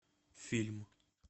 фильм